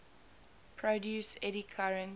produce eddy currents